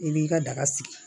I b'i ka daga sigi